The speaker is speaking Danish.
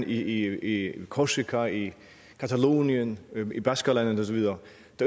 i korsika i catalonien i baskerlandet og så videre